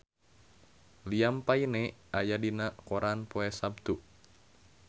Liam Payne aya dina koran poe Saptu